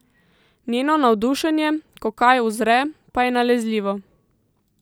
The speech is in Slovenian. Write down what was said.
Njeno navdušenje, ko kaj uzre, pa je nalezljivo.